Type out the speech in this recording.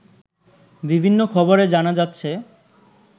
বিভিন্ন খবরে জানা যাচ্ছে